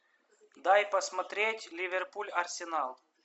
дай посмотреть ливерпуль арсенал